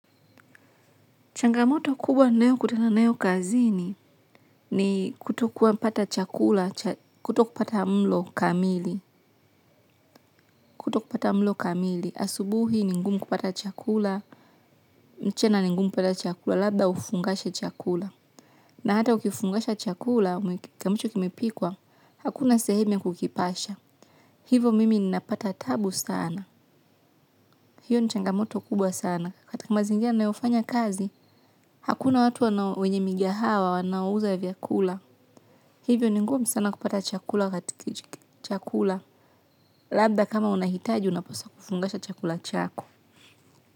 Changamoto kubwa nayokutana nayo kazini ni kutokuwa pata chakula, kutokupata mlo kamili, kutokupata mlo kamili. Asubuhi ni ngumu kupata chakula, mchana ni ngumu kupata chakula, labda ufungashe chakula. Na hata ukifungasha chakula, ambacho kimepikwa, hakuna sehemu ya kukipasha. Hivo mimi ninapata tabu sana. Hiyo ni changamoto kubwa sana. Katika mazingira nayofanya kazi, hakuna watu wana wenye migahawa wanaouza vyakula. Hivyo ni ngumu sana kupata chakula labda kama unahitaji unapaswa kufungasha chakula chako.